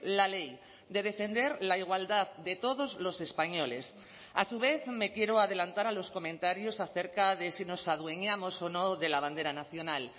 la ley de defender la igualdad de todos los españoles a su vez me quiero adelantar a los comentarios acerca de si nos adueñamos o no de la bandera nacional